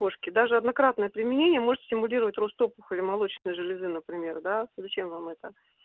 кошке даже однократное применение может стимулировать рост опухоли молочной железы например да зачем вам это